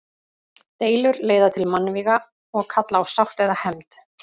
Deilur leiða til mannvíga og kalla á sátt eða hefnd.